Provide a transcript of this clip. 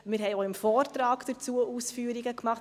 Wir haben auch im Vortrag Ausführungen dazu gemacht.